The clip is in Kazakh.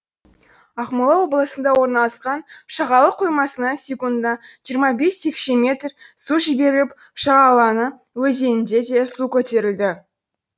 ақмола облысында орналасқан шағалалы қоймасынан секундына жиырма бес текше метр су жіберіліп шағалалы өзенінде де су көтерілді